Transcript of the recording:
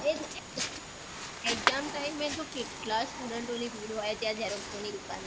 એજ ને exam time એ તો કેટલા student ની ભીડ હોય ત્યાં xerox ઓની દુકાન ઉપર